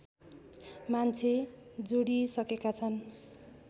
मान्छे जोडिइसकेका छन्